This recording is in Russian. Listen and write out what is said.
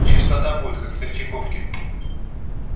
чистота будет как в третьяковке